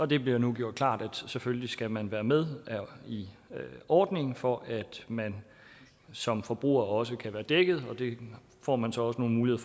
det bliver nu gjort klart at selvfølgelig skal man være med i ordningen for at man som forbruger også kan være dækket og det får man så også nogle